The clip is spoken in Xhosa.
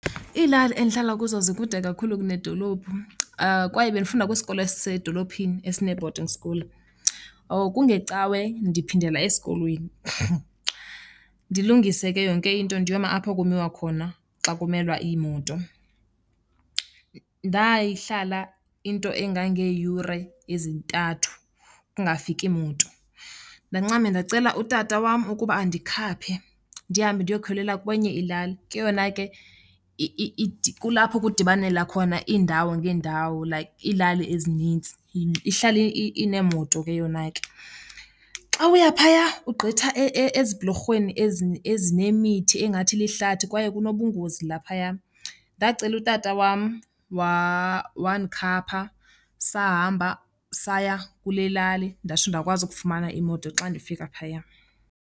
Iilali endihlala kuzo zikude kakhulu kunedolophu kwaye bendifunda kwisikolo esisedolophini esine-boading school. Kungecawe ndiphindela esikolweni, ndilungise ke yonke into ndiyoma apho kumiwa khona xa kumelwa iimoto. Ndayihlala into engangeeyure ezintathu kungafiki moto, ndancama ndacela utata wam ukuba andikhaphe ndihambe ndiyokhwelela kwenye ilali. Ke yona ke kulapho kudibanela khona iindawo ngeendawo, like iilali ezinintsi, ihlala ineemoto ke yona ke. Xa uya phaya ugqitha ezibhulorhweni ezinemithi engathi lihlathi kwaye kunobungozi laphaya. Ndacela utata wam wandikhapha sahamba saya kule lali ndatsho ndakwazi ukufumana imoto xa ndifika phaya.